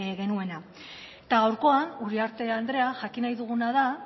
genuena gaurkoan uriarte andrea jakin nahi duguna da